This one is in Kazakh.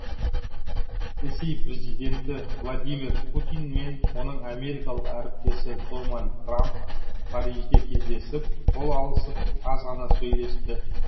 ресей президенті владимир путин мен оның америкалық әріптесі дональд трамп парижде кездесіп қол алысып аз ғана сөйлесті